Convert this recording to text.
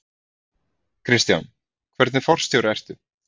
Kristján: Hvernig forstjóri ertu?